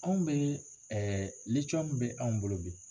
Anw bɛ ɛ litiyɔmu bɛ anw bolo bi